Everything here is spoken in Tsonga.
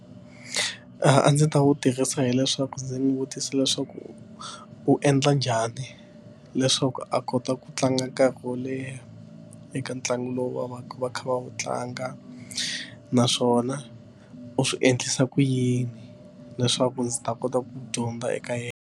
A ndzi ta wu tirhisa hileswaku ndzi n'wi vutisa leswaku u endla njhani leswaku a kota ku tlanga nkarhi wo leha eka ntlangu lowu va va va kha va wu tlanga naswona u swi endlisa ku yini leswaku ndzi ta kota ku dyondza eka yena.